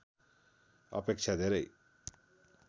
अपेक्षा धेरै